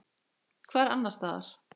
Hvar annars staðar?